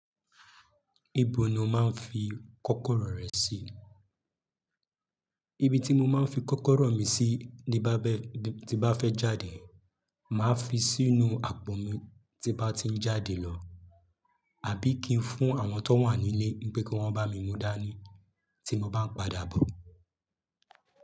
Ibo ni o máa ń fi kọ́kọ́rọ́ rẹ sì? Ibi tí mo máa ń fi kọ́kọ́rọ́ mi sí ní bá bẹ́ẹ̀, tí bá fẹ́ jáde, màá fi sínú àpò mi tí n bá ti ń jáde lọ. Àbí kín fún àwọn tó wà ní ilé, n pé kí wọn bá mi mú dání tí mo báa ń padà bọ̀.